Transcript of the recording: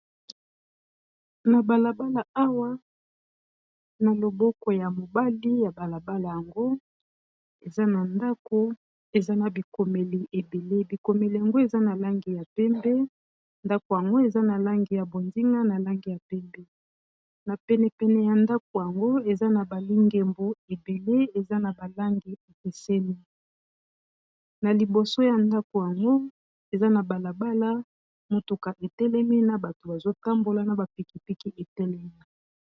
na balabala awa na loboko ya mobali ya balabala yango eza abikomeli ebele bikomeli yango eza na langi ya pembe ndako yango eza na langi ya bondinga na langi ya pembe na penepene ya ndako yango eza na balingembu ebele eza na balangi epesemi na liboso ya ndako yango eza na balabala motuka etelemi na bato bazotambola na bapikipiki etelemi